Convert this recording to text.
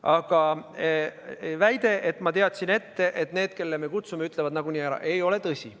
Aga väide, et ma teadsin ette, et need, kelle me kutsume, ütlevad nagunii ära, ei ole tõsi.